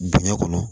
Dingɛ kɔnɔ